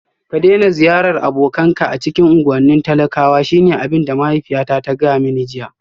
Ka daina ziyartar abokanka a cikin unguwannin talakwa shine abin da mahaifiyata ta gaya mani jiya